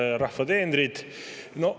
Head rahva teenrid!